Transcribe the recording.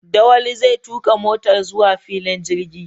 Dawali zai tuka motar zuwa filin jirgi.